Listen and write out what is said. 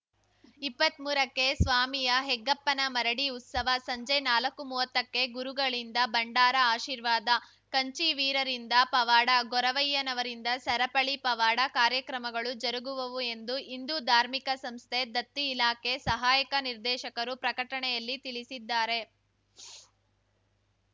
ಇಪ್ಪತ್ಮೂರಕ್ಕೆ ಸ್ವಾಮಿಯ ಹೆಗ್ಗಪ್ಪನ ಮರಡಿ ಉತ್ಸವ ಸಂಜೆ ನಾಲಕ್ಕುಮುವತ್ತಕ್ಕೆ ಗುರುಗಳಿಂದ ಭಂಡಾರ ಆಶೀರ್ವಾದ ಕಂಚಿವೀರರಿಂದ ಪವಾಡ ಗೊರವಯ್ಯನವರಿಂದ ಸರಪಳಿ ಪವಾಡ ಕಾರ್ಯಕ್ರಮಗಳು ಜರುಗುವವು ಎಂದು ಹಿಂದೂ ಧಾರ್ಮಿಕ ಸಂಸ್ಥೆ ದತ್ತಿ ಇಲಾಖೆ ಸಹಾಯಕ ನಿರ್ದೇಶಕರು ಪ್ರಕಟಣೆಯಲ್ಲಿ ತಿಳಿಸಿದ್ದಾರೆ